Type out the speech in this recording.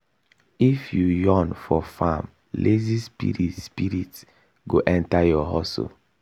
if you yawn for farm lazy spirit spirit go enter your hustle.